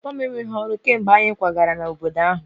Papa m enweghị ọrụ kemgbe anyị kwagara n'obodo ahụ